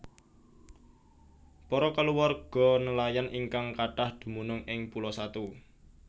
Para kulawarga nelayan ingkang kathah dumunung ing Pulo Satu